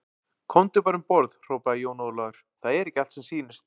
Komdu bara um borð, hrópaði Jón Ólafur, það er ekki allt sem sýnist.